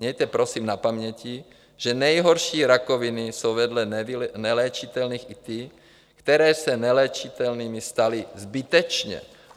Mějte prosím na paměti, že nejhorší rakoviny jsou vedle neléčitelných i ty, které se neléčitelnými staly zbytečně.